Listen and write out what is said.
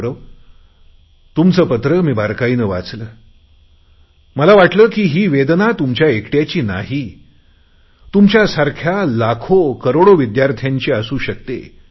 गौरव तुमचे पत्र मी बारकाईने वाचले मला वाटते की ही वेदना तुमच्या एकटयाची नाही तर तुमच्यासारख्या लाखोकरोडो विद्यार्थ्यांची असू शकते